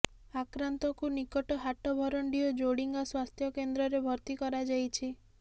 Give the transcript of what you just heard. ଆକ୍ରାନ୍ତଙ୍କୁ ନିକଟ ହାଟଭରଣ୍ଡି ଓ ଜୋଡିଙ୍ଗା ସ୍ୱାସ୍ଥ୍ୟ କେନ୍ଦ୍ରରେ ଭର୍ତ୍ତି କରାଯାଇଛି